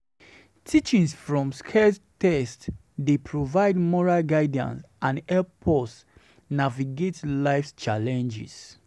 Teachings from sacred texts dey provide moral guidance and help us navigate life's challenges.